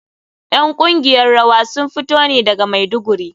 ’Yan kungiyar rawa sun fito ne daga Maiduguri.